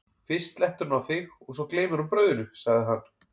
fyrst slettir hún á þig og svo gleymir hún brauðinu, sagði hann.